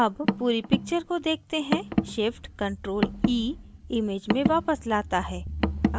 अब पूरी picture को देखते हैं shift + ctrl + e image में वापस let है